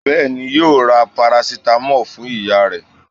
Bẹ́ẹ̀ni, yóò ra parasitamọ́lù fún ìyá rẹ̀